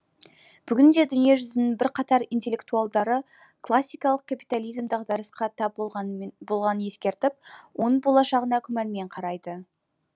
бүгінде дүние жүзінің бірқатар интеллектуалдары классикалық капитализм дағдарысқа тап болғанын ескертіп оның болашағына күмәнмен қарайды